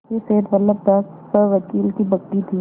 यह सेठ बल्लभदास सवकील की बग्घी थी